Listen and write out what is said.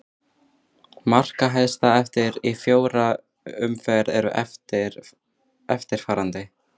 Markahæstar eftir í fjórar umferð eru eftirfarandi: